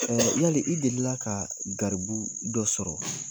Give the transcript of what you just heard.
Yali i delila ka garibu dɔ sɔrɔ ?